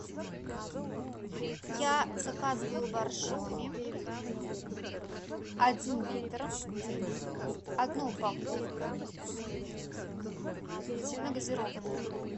я заказывала боржоми один литр одну упаковку сильногазированную